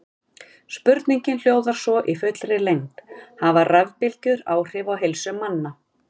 Spurningin hljóðar svo í fullri lengd: Hafa rafbylgjur áhrif á heilsu manna?